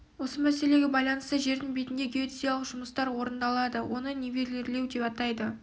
осы мәселеге байланысты жердің бетінде геодезиялық жұмыстар орындалады оны нивелирлеу деп атайды